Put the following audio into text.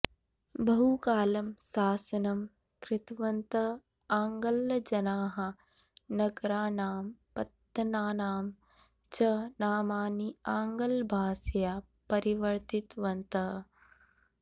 बहुकालं शासनं कृतवन्तः आङ्ग्लजनाः नगराणां पत्तनानां च नामानि आङ्ग्लभाषया परिवर्तितवन्तः